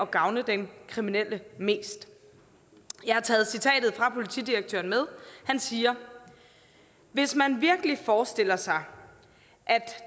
gavne den kriminelle mest jeg har taget citatet fra politidirektøren med han siger hvis man virkelig forestiller sig